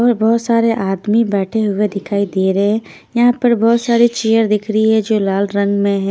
और बहोत सारे आदमी बैठे हुए दिखाई दे रहे है यहा पर बहोत सारी चियर दिख रही है जो लाल रंग में है।